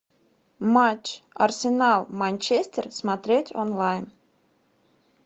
матч арсенал манчестер смотреть онлайн